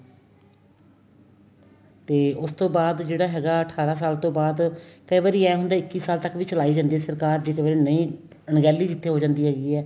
ਤੇ ਉਸ ਤੋਂ ਬਾਅਦ ਜਿਹੜਾ ਹੈਗਾ ਅਠਾਰਾ ਸਾਲ ਤੋਂ ਬਾਅਦ ਕਈ ਵਾਰੀ ਏ ਹੁੰਦਾ ਇੱਕੀ ਸਾਲ ਤੱਕ ਵੀ ਚਲਾਈ ਜਾਂਦੀ ਏ ਸਰਕਾਰ ਜੇ ਕਵੇ ਨਹੀਂ ਅਣਗਹਿਲੀ ਕਿੱਥੇ ਹੋ ਜਾਂਦੀ ਹੈਗੀ ਏ